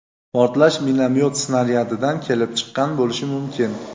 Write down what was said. portlash minomyot snaryadidan kelib chiqqan bo‘lishi mumkin.